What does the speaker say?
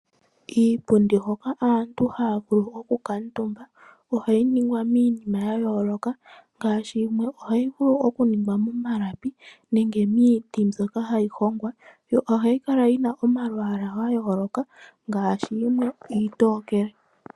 Iipundi hoka aantu haya vulu okukuutumba ohayi ningwa miinima ya yooloka, ngaashi yimwe ohayi ningwa momalapi nenge miiti mbyoka hayi hongwa. Ohayi kala yina omalwaalwa gayoloka ngaashi yimwe iitokele.